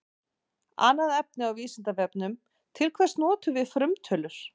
Annað efni á Vísindavefnum: Til hvers notum við frumtölur?